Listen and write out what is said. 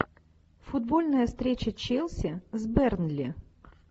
футбольная встреча челси с бернли